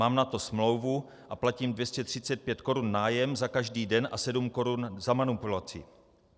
Mám na to smlouvu a platím 235 korun nájem za každý den a 7 korun za manipulaci."